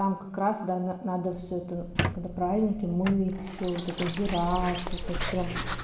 там как раз да н надо всё это когда праздники мыть всё вот это убираться вот это прям